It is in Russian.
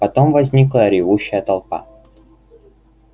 потом возникла ревущая толпа